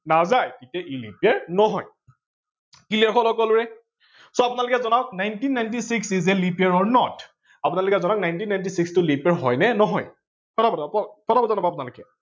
নাযায় তেতিয়া ই leap year নহয়। clear হল সকলোৰে? nineteen ninety six is a leap year or not আপোনালোকে জনাওক nineteen ninety six আপোনালোকে জনাওক leap year হয় নে নহয়? ফতা ফত জনাওক আপোনালোকে